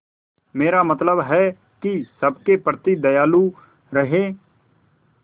मेरा मतलब है कि सबके प्रति दयालु रहें